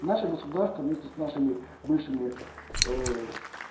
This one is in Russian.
наше государство вместе с нашими бывшими